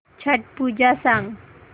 छट पूजा सांग